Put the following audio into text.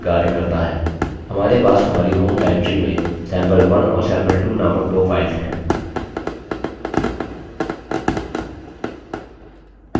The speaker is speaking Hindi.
देखते हैं cmp कैसे कार्य करता है हमारे पास हमारी home directory में sample1 और sample2 named दो files हैं